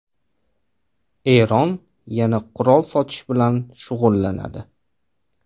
Eron yana qurol sotish bilan shug‘ullanadi.